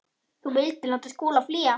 Þú vildir láta Skúla flýja.